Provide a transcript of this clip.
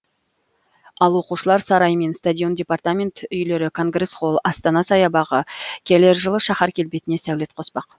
ал оқушылар сарайы мен стадион департамент үйлері конгресс холл астана саябағы келер жылы шаһар келбетіне сәулет қоспақ